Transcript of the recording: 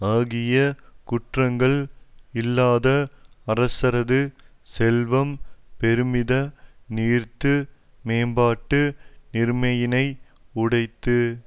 ஆகிய குற்றங்கள் இல்லாத அரசரது செல்வம் பெருமித நீர்த்து மேம்பாட்டு நீர்மையினை உடைத்து